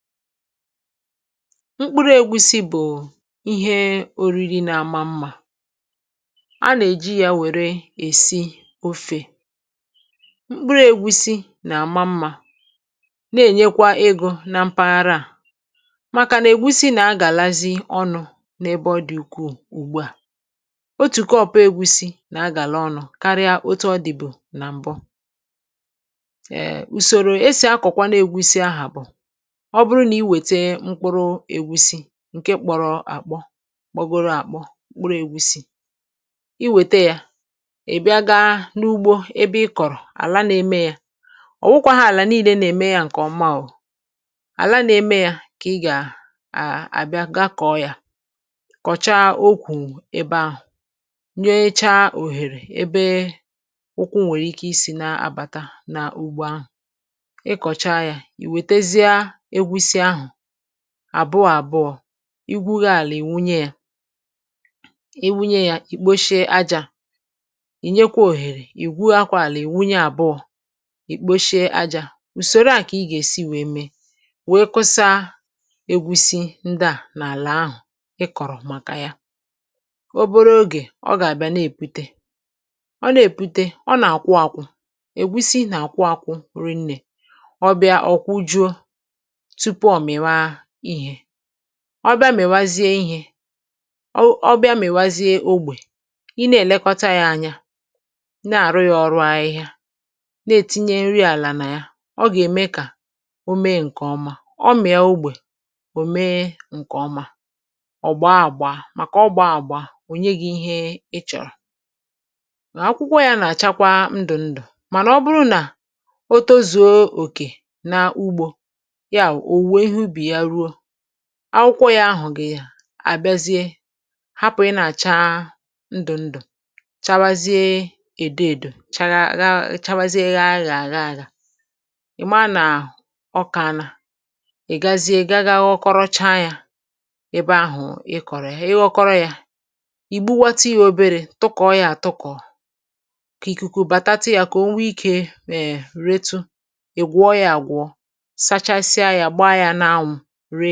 Mkpụrụ̇ ègusi bụ̀ ihe ȯ riri na-ama mmà. A nà-èji yȧ nwèrè èsi ȯfė. mkpụrụ̇ ègusi nà-àma mmȧ, na-ènyekwa ịgụ̇ na mpaghara à, màkà nà ègusi nà-agàlazi ọnụ̇ n’ebe ọ dị̀ ùkwù ùgbè à. Otùke ọ̀pụ̀ ègusi nà-agàla ọnụ̇, karịa otu ọ dị̀ bụ̀ nà m̀bụ. um Usoro esi kwa akọkwanu egusi ahụ bụ: Ọ bụrụ n’ị wete mkpụrụ egusi ǹke kpọ̀rọ̀ àkpọ, kpọgoro àkpọ, kpụrụ̇ ègusiì; i wète yȧ, ị̀ bịa gȧ n’ugbȯ ebe ị kọ̀rọ̀ àlà na-eme yȧ, ọ̀ nwụkwa hȧ àlà nille, na-eme yȧ ǹkè ọmaàwụ̀; àlà na-eme yȧ, kà ị gà àà àbịa, gakọ̀ọ yȧ, kọ̀chaa okwu̇ ebe ahụ̀, nyoocha òhèrè ebe ụkwụ̇ nwèrè ike isì na-abàta n’ugbȯ ahụ̀. Ị̀ kọ̀cha yȧ, iwetazia egusi ahu àbụ àbụọ̇, igwughi̇ àlà, ìwunye yȧ. Ì wunye yȧ, ì kposhie ajȧ; ì nyekwa òhèrè, ì gwughikwa àlị̀, ì wunye àbụọ, ì kposhie ajȧ. Ùsòro à kà ị gà èsi wèe mee, wèe kụsa ègusi̇ ndị à nà àlà ahụ̀ ị kọ̀rọ̀ màkà ya. O boro ogè ọ gà àbịa n’èpute. Ọ nà èpute, ọ nà àkwụ àkwụ̇; ègusi nà àkwụ àkwụ̇ rinnė. Ọ̀bịa ọ̀kwụjuȯ; tupu o mèwa ihė. Ọ̀ bịa, mèwazie ihė, ọ bịa, mèwazie ogbè. Ihe nà-èlekọta yȧ ànyȧ, na-àrụ yȧ ọrụ ahịhịa, na-ètinye nrị àlà nà ya; ọ gà-ème kà o mee ǹkè ọma. Ọ mịà ogbè, ò mee ǹkè ọma. Ọ̀ gbọọ àgbọ, à màkà ọ gbọọ àgbọ, o nye gị̇ ihe ị chọ̀rọ̀. Akwụkwọ yȧ nà-àchakwa ndụ̀ ndụ̀. Mànà ọ bụrụ nà o tozùo òkè na ugbȯ, Yà, ọ wụ̀ uwe ihu ubi ya wèrùo, akwụkwọ ya ahụ̀ gị àbịazie, hapụ̀, ị nà-àcha ndụ̀ ndụ̀, chawazie èdo èdò, chawazie yȧ àghị̇ àgà aghà. Ị maa nà ọkà anà, ị̀ gazie gȧ gȧ, ọkọrọcha yȧ ebe ahụ̀ ị kọ̀rọ̀, ị ghọkọrọ yȧ, ì gbuwatà ihe oberė, tụkọ̀ọ yȧ, àtụkọ̀, kà ìkùkù bàtatị yà kà o nwe ikė, è reetu. Ị̀ gwọ ya àgwọ, sàchàsia ya, gbaa ya n’áwù rià.